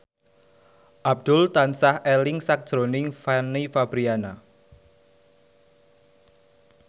Abdul tansah eling sakjroning Fanny Fabriana